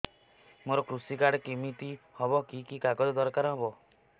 ମୋର କୃଷି କାର୍ଡ କିମିତି ହବ କି କି କାଗଜ ଦରକାର ହବ